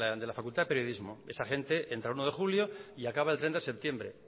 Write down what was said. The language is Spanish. de la facultad de periodismo esa gente entra el uno de julio y acaba el treinta de septiembre